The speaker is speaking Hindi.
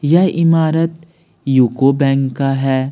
यह इमारत युको बैंक का है।